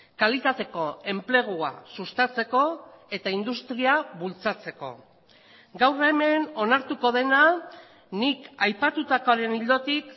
kalitateko enplegua sustatzeko eta industria bultzatzeko gaur hemen onartuko dena nik aipatutakoaren ildotik